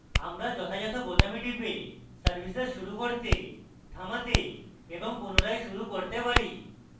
আমরা যথাযত বোতামে টিপে services শুরু করতে থামাতে এবং পুনরায় শুরু করতে পারি